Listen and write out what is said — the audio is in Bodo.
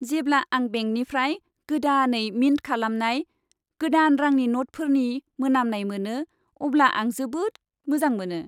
जेब्ला आं बेंकनिफ्राय गोदानै मिन्ट खालामनाय गोदान रांनि न'टफोरनि मोनामनाय मोनो अब्ला आं जोबोद मोजां मोनो।